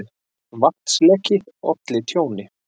Vatnsleki olli tjóni